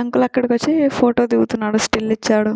Uncle అకడికి వచ్చి photo కి దిగుతున్నాడు స్టిల్ ఇచ్చాడు .